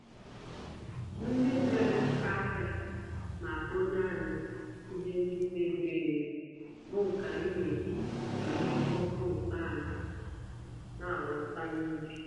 Ndị nere ahịa naekponye anyị ihe ndị mebiri-emebi bụ nke anyị n'eji emere kompost anyị nawụsa n'ubi.